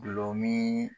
Gulɔmin